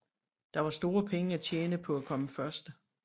Der var store penge at tjene på at komme først